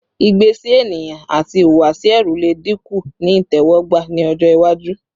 igbe si eniyan ati ihuwasi ẹru le dinku ni itẹwọgba ni ọjọ iwaju